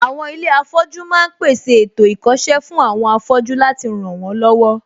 Àwọn ilé afọ́jú ma ń pèsè ètò ìkọ́ṣẹ́ fún àwọn afọ́jú láti ràn wọ́n lọ́wọ́